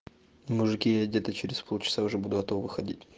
мужики я где-то через полчаса уже буду от туда выходить